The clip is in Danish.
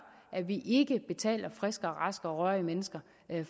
at vi ikke betaler friske raske og rørige mennesker